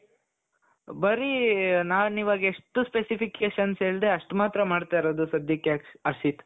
ಬರೀ ನಾನ್ ಇವಾಗ ಎಷ್ಟು specifications ಹೇಳುದ್ನೋ ಅಷ್ಟ್ ಮಾತ್ರಾ ಮಾಡ್ತಾ ಇರೋದು ಸದ್ಯಕ್ಕೆ ಹರ್ಷಿತ್ .